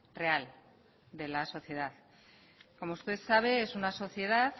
real de la sociedad como usted sabe es una sociedad